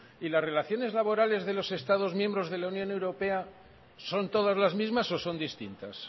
y las relaciones laborales de los estados miembros de la unión europea son todas las mismas o son distintas